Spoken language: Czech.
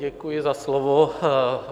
Děkuji za slovo.